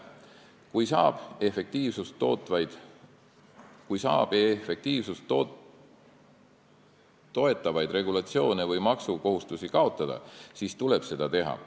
Kui saab luua efektiivsust toetavaid regulatsioone või maksukohustusi kaotada, siis tuleb seda teha.